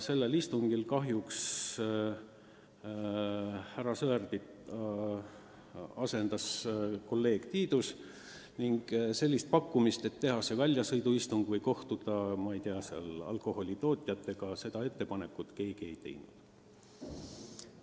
Sellel istungil kahjuks härra Sõerdi asendas kolleeg Tiidus ja ettepanekut teha see väljasõiduistung ja kohtuda näiteks alkoholitootjatega keegi ei teinud.